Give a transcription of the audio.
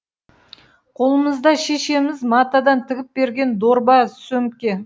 қолымызда шешеміз матадан тігіп берген дорба сөмке